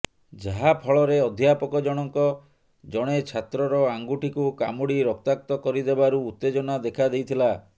ଯାହାଫଳରେ ଅଧ୍ୟାପକ ଜଣଙ୍କ ଜଣେ ଛାତ୍ରର ଆଙ୍ଗୁଠିକୁ କାମୁଡି ରକ୍ତାକ୍ତ କରିଦେବାରୁ ଉତ୍ତେଜନା ଦେଖାଦେଇଥିଲା